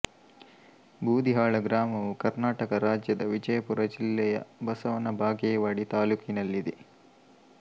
ಬೂದಿಹಾಳ ಗ್ರಾಮವು ಕರ್ನಾಟಕ ರಾಜ್ಯದ ವಿಜಯಪುರ ಜಿಲ್ಲೆಯ ಬಸವನ ಬಾಗೇವಾಡಿ ತಾಲ್ಲೂಕಿನಲ್ಲಿದೆ